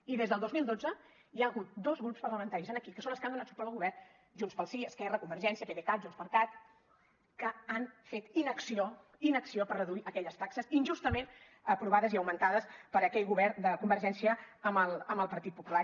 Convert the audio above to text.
i des del dos mil dotze hi ha hagut dos grups parlamentaris aquí que són els que han donat suport al govern junts pel sí esquerra convergència pdecat junts per cat que han fet inacció inacció per reduir aquelles taxes injustament aprovades i augmentades per aquell govern de convergència amb el partit popular